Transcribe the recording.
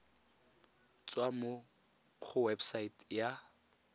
tswa mo go website ya